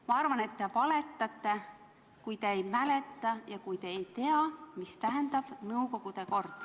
Ma arvan, et te valetate, kui te väidate, et te ei mäleta ja te ei tea, mida tähendab nõukogude kord.